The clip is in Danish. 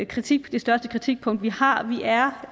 kritikpunkt vi har vi er